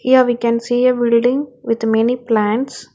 Here we can see a building with many plants.